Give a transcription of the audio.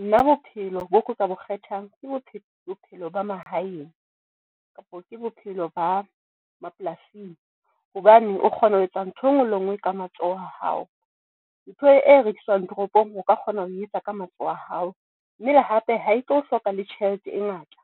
Nna bophelo bo ka bo kgethang ke bophelo, bophelo ba mahaeng kapo ke bophelo ba mapolasing hobane o kgona ho etsa ntho enngwe le nngwe. Ka matsoho a hao ntho e rekiswang toropong, o ka kgona ho etsa ka matsoho a hao. Mme le hape ha e tlo hloka le tjhelete e ngata.